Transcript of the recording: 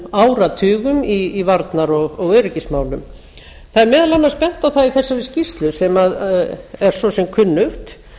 áratugum í varnar og öryggismálum það er meðal annars bent á það í þessari skýrslu sem er svo sem kunnugt